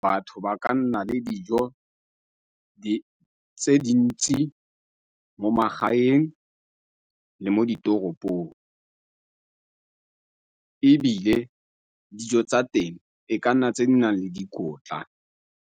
Batho ba ka nna le dijo tse di ntsi mo magaeng le mo ditoropong ebile dijo tsa teng e ka nna tse di nang le dikotla.